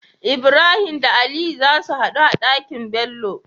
Ibrahim da aliyu zasu hadu a Ɗaki nBello